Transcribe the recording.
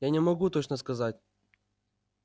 я не могу точно сказать